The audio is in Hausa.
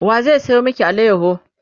wa zai sayo maki alayaho?